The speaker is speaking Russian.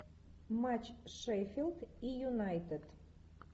матч шеффилд и юнайтед